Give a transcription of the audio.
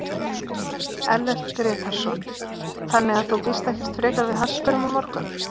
Ellert Grétarsson: Þannig að þú býst ekkert frekar við harðsperrum á morgun?